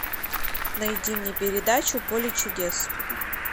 найди мне передачу поле чудес